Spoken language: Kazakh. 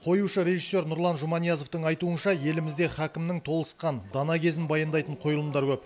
қоюшы режиссер нұрлан жұманиязовтың айтуынша елімізде һакімнің толысқан дана кезін баяндайтын қойылымдар көп